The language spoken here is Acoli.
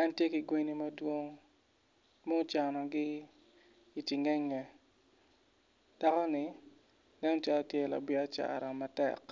en tye ki gwenni madwong mucanogi icingenge dako-ni nen calo tye labiyacara matek